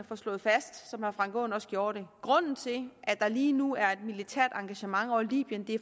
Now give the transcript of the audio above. få slået fast som herre frank aaen også gjorde det grunden til at der lige nu er et militært engagement over libyen